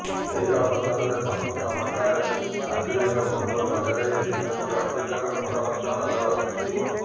ଏହି ଅବସରରେ ସଂପୂର୍ଣ୍ଣ ପାଟଣାରେ ଆରଜେଡିର ପୋଷ୍ଟର ଲଗାଯାଇଛି ଯେଉଁଥିରେ ଐଶ୍ୱର୍ଯ୍ୟାଙ୍କର ଫଟୋ ମଧ୍ୟ ନଜର ଆସିଛି